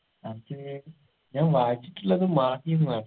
അത് ഞാൻ വായിച്ചിട്ടുള്ളത് മാഹിന്നാ